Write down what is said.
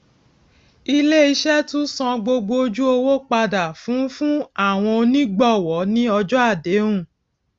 ilé iṣé tún san gbogbo ojú owó padà fún fún àwọn onígbòwó ní ọjó àdéhùn